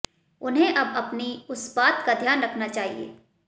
उन्हें अब अपनी उस बात का ध्यान रखना चाहिए